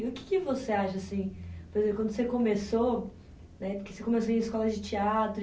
E o que que você acha, assim, quando você começou né, porque você começou em escola de teatro e